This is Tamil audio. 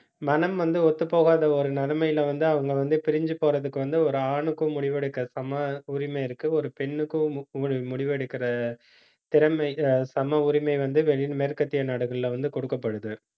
மனம் வந்து, ஒத்துப்போகாத ஒரு நிலைமையில வந்து, அவங்க வந்து பிரிஞ்சு போறதுக்கு வந்து, ஒரு ஆணுக்கும் முடிவெடுக்க சம உரிமை இருக்கு. ஒரு பெண்ணுக்கும் மு~ முடிவெடுக்கிற திறமை ஆஹ் சம உரிமை வந்து வெளி~ மேற்கத்திய நாடுகள்ல வந்து கொடுக்கப்படுது